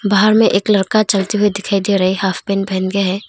बाहर में एक लड़का चलते हुए दिखाई दे रहा है हॉफ पैंट पहन के है।